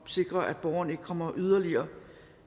sikre at borgeren ikke kommer yderligere